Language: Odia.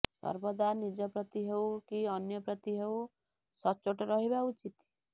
ସର୍ବଦା ନିଜ ପ୍ରତି ହେଉ କି ଅନ୍ୟ ପ୍ରତି ହେଉ ସଚ୍ଚୋଟ ରହିବା ଉଚିତ